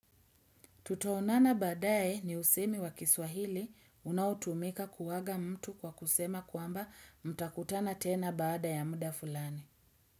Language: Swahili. Tutaonana badaaye ni usemi wa kiswahili unaotumika kuaaga mtu kwa kusema kwamba mtakutana tena bada ya muda fulani.